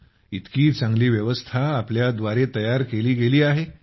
भई इतकी चांगली व्यवस्था आपल्या द्वारे बनवली गेली आहे